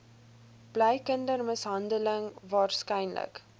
bly kindermishandeling waarskynlik